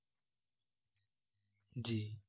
জি